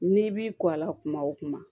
N'i b'i kɔ a la kuma o kuma